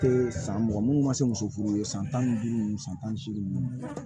Te san mugan munnu ma se muso furu ye san tan ni duuru nunnu san tan ni seegin nunnu